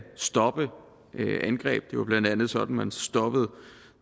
stoppe angreb jo blandt andet sådan man stoppede